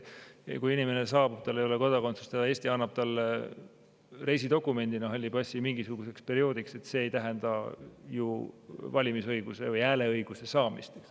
Kui inimene saabub siia, tal ei ole kodakondsust ja Eesti annab talle reisidokumendina mingisuguseks perioodiks halli passi, siis see ei tähenda kohe valimisõiguse või hääleõiguse saamist.